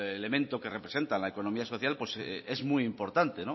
elemento que representa la economía social pues es muy importante